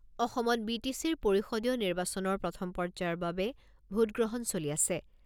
অসমত B T চিৰ পৰিষদীয় নিৰ্বাচনৰ প্ৰথম পৰ্যায়ৰ বাবে ভোটগ্ৰহণ চলি আছে।